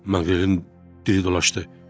Maqrelin dili dolaşdı.